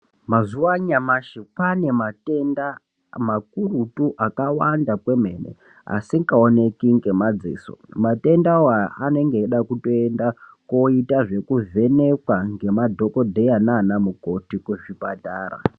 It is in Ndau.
Mazuwa anyamashi pane matenda makurutu akawanda kwemene asikaoneki ngemadziso ,matendawo anenge eida kutoenda koitwa zvekuvheneka ngemadhokodheya nana mukoti kuzvipatara.